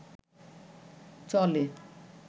চলে